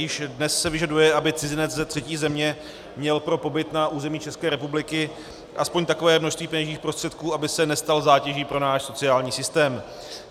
Již dnes se vyžaduje, aby cizinec ze třetí země měl pro pobyt na území České republiky aspoň takové množství peněžních prostředků, aby se nestal zátěží pro náš sociální systém.